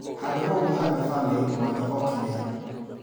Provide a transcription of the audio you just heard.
Handũhaũgwo handa bamĩrĩ mwanya o kĩmera.